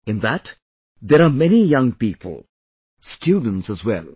In that, there are many young people; students as well